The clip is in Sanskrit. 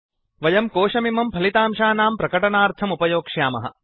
वयं कोशमिमं फलितांशानां प्रकटनार्थम् उपयोक्ष्यामः